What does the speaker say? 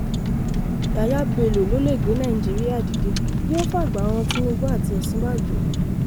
yahya bello ló lè gbé nàìjíríà dìde yóò fàgbà han tìnúbù àti òsínbàjò